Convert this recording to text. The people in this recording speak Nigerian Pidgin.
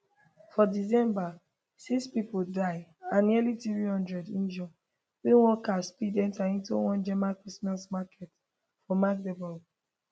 for december six pipo die and nearly 300 injure wen one car speed enta inside one german christmas market for magdeburg